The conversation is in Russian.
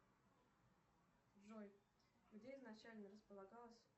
джой где изначально располагалась